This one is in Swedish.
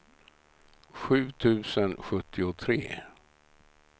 sju tusen sjuttiotre